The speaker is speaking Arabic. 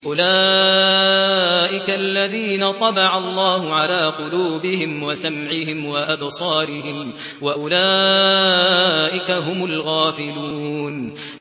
أُولَٰئِكَ الَّذِينَ طَبَعَ اللَّهُ عَلَىٰ قُلُوبِهِمْ وَسَمْعِهِمْ وَأَبْصَارِهِمْ ۖ وَأُولَٰئِكَ هُمُ الْغَافِلُونَ